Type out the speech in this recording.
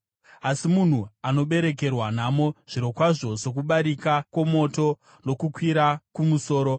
Asi munhu anoberekerwa nhamo, zvirokwazvo sokubarika kwomoto kunokwira kumusoro.